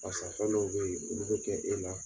Barisa fɛn dɔw bɛ ye olu bɛ kɛ e la.